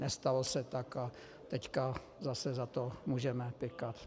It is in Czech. Nestalo se tak a teď zase za to můžeme pykat.